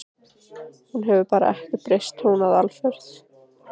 Hún hefur bara ekkert breyst tónaði Alfreð.